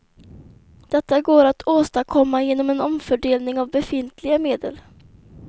Detta går att åstadkomma genom en omfördelning av befintliga medel.